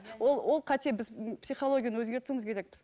ол ол қате біз психологияны өзгертуіміз керекпіз